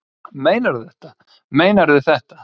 Meinarðu þetta, meinarðu þetta.